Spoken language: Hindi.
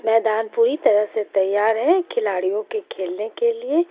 मैदान पूरी तरह से तैयार हे खिलाडीओ के खेलने के लिए.